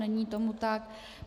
Není tomu tak.